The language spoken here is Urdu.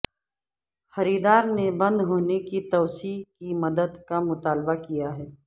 خریدار نے بند ہونے کی توسیع کی مدت کا مطالبہ کیا ہے